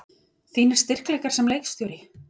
Þínir styrkleikar sem leikstjóri?